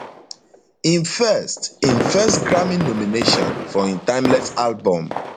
im first im first grammy nomination for im timeless album